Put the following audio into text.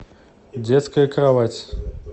детская кровать